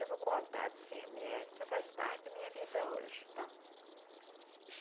Eu vou contar desse remédio que faz parte da minha vida hoje. Tá